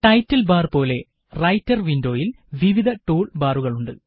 title bar പോലെ writer വിന്ഡോയില് വിവിധ ടൂള് ബാറുകളുണ്ട്